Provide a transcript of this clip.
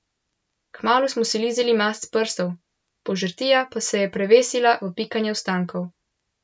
Kmalu smo si lizali mast s prstov, požrtija pa se je prevesila v pikanje ostankov.